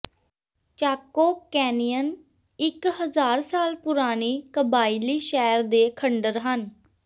ਚਾਕੋ Canyon ਇਕ ਹਜ਼ਾਰ ਸਾਲ ਪੁਰਾਣੀ ਕਬਾਇਲੀ ਸ਼ਹਿਰ ਦੇ ਖੰਡਰ ਹਨ